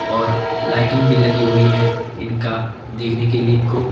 और लाइटिंग भी लगी हुई है इनका देखने के लिए इनको--